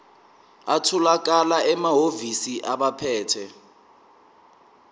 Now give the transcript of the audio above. atholakala emahhovisi abaphethe